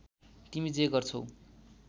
तिमी जे गर्छौ